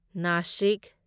Nashik